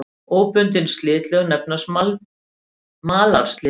Óbundin slitlög nefnast malarslitlög.